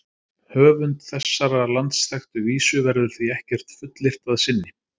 Um höfund þessarar landsþekktu vísu verður því ekkert fullyrt að sinni.